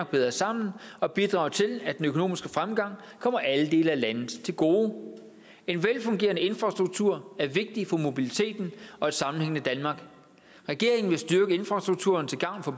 bedre sammen og bidrage til at den økonomiske fremgang kommer alle dele af landet til gode en velfungerende infrastruktur er vigtig for mobiliteten og et sammenhængende danmark regeringen vil styrke infrastrukturen til gavn for